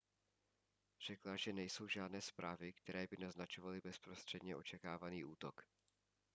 řekla že nejsou žádné zprávy které by naznačovaly bezprostředně očekávaný útok